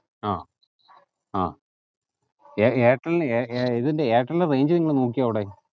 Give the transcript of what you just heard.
ആ അഹ് എ എയർടെലിന് ഏർ ഇതിന്റെ എയർടെലിൻ range ഏങ്ങലും നോക്ക്യോ അവിടെ